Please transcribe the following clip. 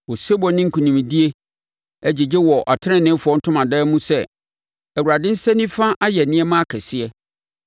Osebɔ ne nkonimdie gyegye wɔ ateneneefoɔ ntomadan mu sɛ, “ Awurade nsa nifa ayɛ nneɛma akɛseɛ!